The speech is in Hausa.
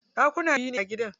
Ɗakuna biyu ne a gidan.